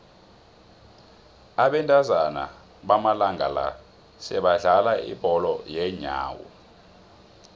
abentazana bamalanga la sebadlala ibholo yeenyawo